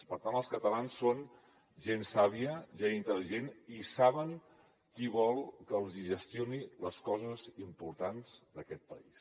per tant els catalans són gent sàvia gent intel·ligent i saben qui vol que els hi gestioni les coses importants d’aquest país